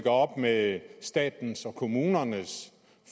op med statens og kommunernes